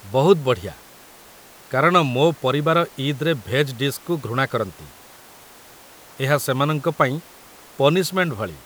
ବହୁତ ବଢ଼ିଆ, କାରଣ ମୋ ପରିବାର ଇଦ୍‌ରେ ଭେଜ୍ ଡିଶ୍‌କୁ ଘୃଣା କରନ୍ତି, ଏହା ସେମାନଙ୍କ ପାଇଁ ପନିଶ୍‌ମେଣ୍ଟ ଭଳି ।